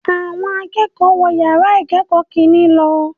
Awọn akẹ́kọ̀ọ́ wọ̀ yàrá ìkẹ́kọ̀ọ́ kìnní lọ